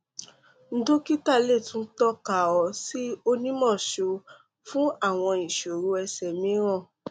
dokita le tun tọka ọ si onimọọṣọ fun awọn iṣoro ẹsẹ miiran